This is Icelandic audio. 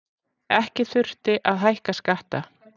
Ekki þurfti að hækka skatta